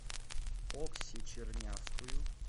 окси чернявскую